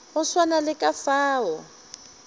go swana le ka fao